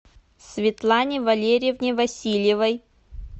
светлане валерьевне васильевой